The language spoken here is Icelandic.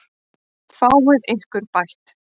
Fáið þið ykkar bætt.